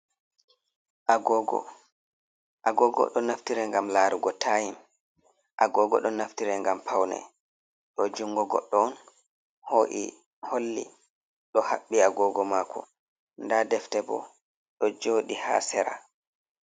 "Agogo" agogo ɗo naftiri ngam larugo taim agogo ɗo naftiri ngam paune ɗo jungo goddo on ho’i holli ɗo habbi agogo mako da defte bo ɗo jodi ha sera.